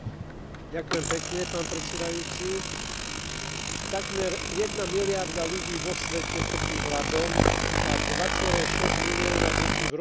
Takmer jedna miliarda ľudí vo svete trpí hladom a 2,6 milióna detí v rozvojových krajinách každý rok zomrie na podvýživu.